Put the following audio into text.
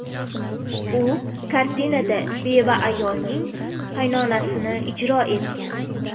U kartinada beva ayolning qaynonasini ijro etgan.